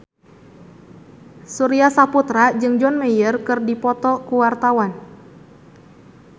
Surya Saputra jeung John Mayer keur dipoto ku wartawan